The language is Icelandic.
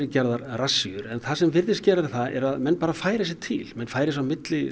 gerðar rassíur en það sem virðist gerast er að menn bara færa sig til menn færa sig á milli